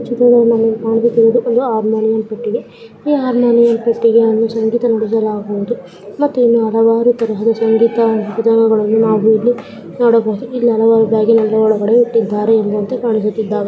ಈ ಚಿತ್ರದಲ್ಲಿ ನಮಗೆ ಕಾಣಿಸುತ್ತಿರುವುದು ಒಂದು ಆರ್ಮೋನಿಯಂ ಪೆಟ್ಟಿಗೆ ಈ ಅರ್ಮೋನಿಯಂ ಪೆಟ್ಟಿಗೆಯಲ್ಲಿ ಸಂಗೀತ ನುಡಿಸಲಾಗುವುದು ಮತ್ತು ಹಲವಾರು ತರದ ಸಂಗೀತ ಇಲ್ಲಿ ನೋಡಬಹುದು ಕಾಣಿಸುತ್ತಿದ್ದಾವೆ .